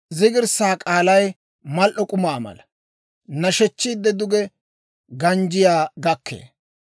Zigirssaa k'aalay mal"o k'umaa mala; nashechchiide duge ganjjiyaa gakkee.